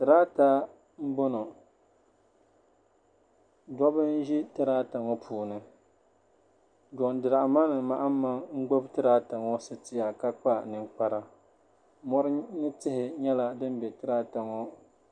Tirata m boŋɔ dobba n ʒi tirata ŋɔ puuni Jon diramani mahama n gbibi tirata ŋɔ sitiya ka kpa ninkpara mori ni tihi nyɛla din be tirata ŋɔ.